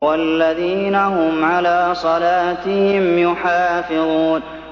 وَالَّذِينَ هُمْ عَلَىٰ صَلَاتِهِمْ يُحَافِظُونَ